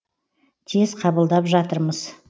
тез қабылдап жатырмыз